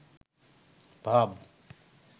ভাব